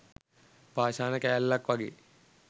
පාෂාණ කෑල්ලක් වගේ